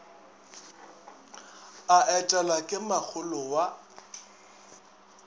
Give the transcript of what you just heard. a etelwa ke makgolo wa